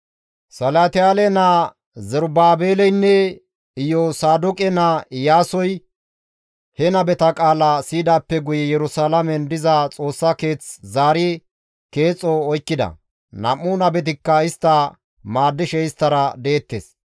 Salatiyaale naa Zerubaabeleynne Iyosaadoqe naa Iyaasoy he nabeta qaala siyidaappe guye Yerusalaamen diza Xoossa keeth zaari keexo oykkida; nam7u nabetikka istta maaddishe isttara deettes.